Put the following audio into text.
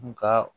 N ka